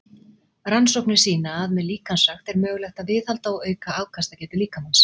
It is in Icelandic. Rannsóknir sýna að með líkamsrækt er mögulegt að viðhalda og auka afkastagetu líkamans.